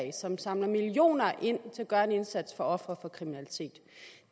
som samler millioner ind til at gøre en indsats for ofre for kriminalitet